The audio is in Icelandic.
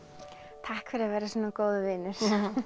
takk fyrir að vera svona góður vinur